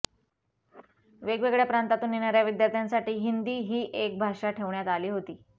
वेगवेगळ्या प्रांतातून येणाऱ्या विद्यार्थ्यांसाठी हिंदी ही एक भाषा ठेवण्यात आली होती